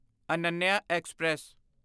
Ananya express